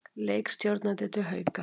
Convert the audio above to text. Leikstjórnandi til Hauka